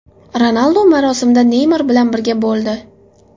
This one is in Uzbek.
Ronaldu marosimda Neymar bilan birga bo‘ldi.